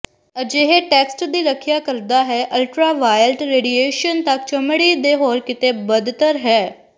ਅਜਿਹੇ ਟੈਕਸਟ ਦੀ ਰੱਖਿਆ ਕਰਦਾ ਹੈ ਅਲਟਰਾਵਾਇਲਟ ਰੇਡੀਏਸ਼ਨ ਤੱਕ ਚਮੜੀ ਦੇ ਹੋਰ ਕਿਤੇ ਬਦਤਰ ਹੈ